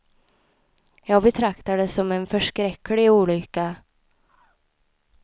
Jag betraktar det som en förskräcklig olycka.